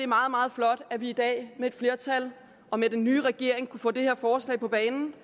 meget meget flot at vi i dag med et flertal og med den nye regering kunne få det her forslag på banen